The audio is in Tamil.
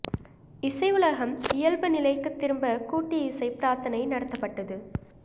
இசை உலகம் இயல்பு நிலைக்குத் திரும்ப கூட்டு இசை பிராா்த்தனை நடத்தப்பட்டது